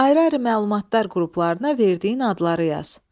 Ayrı-ayrı məlumatlar qruplarına verdiyin adları yaz.